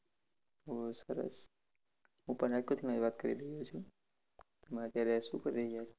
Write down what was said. બોવ સરસ હું પણ રાજકોટથી જ વાત કરી રહ્યો છો. તમે અત્યારે શું કરી રહ્યા છો?